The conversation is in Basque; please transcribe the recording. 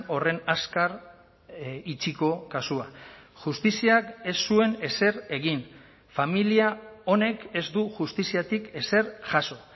horren azkar itxiko kasua justiziak ez zuen ezer egin familia honek ez du justiziatik ezer jaso